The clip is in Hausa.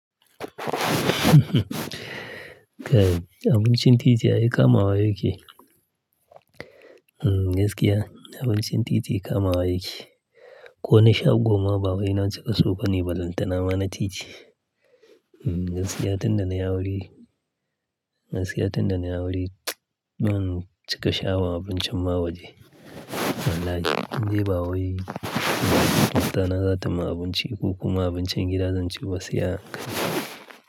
Kai abincin titi ai kamawa yake. Mm gaskiya abincin titi kamawa yake. Ko na shago ma bawai na cika so bane ballantana ma na titi. Mm gaskiya tun da na yi aure, gaskiya tun da na yi aure ban cika sha abu abincin ba awa je. Wallahi. In dai bawai, matana za ta yi min abinci, ko kuma abincin gida zan ci ba gaskiya kai.